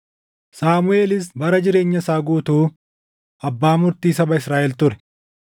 Saamuʼeelis bara jireenya isaa guutuu abbaa murtii saba Israaʼel ture.